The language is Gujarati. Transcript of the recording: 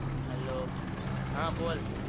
hello હા બોલ.